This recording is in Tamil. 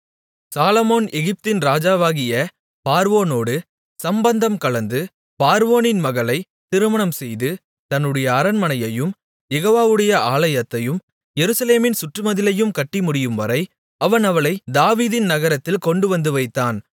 சாலொமோன் எகிப்தின் ராஜாவாகிய பார்வோனோடு சம்பந்தங்கலந்து பார்வோனின் மகளைத் திருமணம் செய்து தன்னுடைய அரண்மனையையும் யெகோவாவுடைய ஆலயத்தையும் எருசலேமின் சுற்றுமதிலையும் கட்டி முடியும்வரை அவன் அவளைத் தாவீதின் நகரத்தில் கொண்டுவந்து வைத்தான்